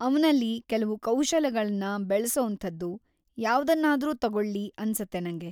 ಅವ್ನಲ್ಲಿ ಕೆಲ್ವು ಕೌಶಲಗಳ್ನ ಬೆಳ್ಸೋಂಥದ್ದು ಯಾವ್ದನ್ನಾದ್ರೂ ತಗೊಳ್ಲಿ ಅನ್ಸತ್ತೆ ನಂಗೆ.